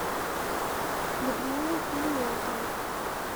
людмилу клименко